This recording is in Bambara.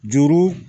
Juru